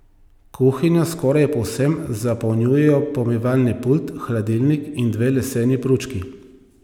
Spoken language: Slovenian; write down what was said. Kuhinjo skoraj povsem zapolnjujejo pomivalni pult, hladilnik in dve leseni pručki.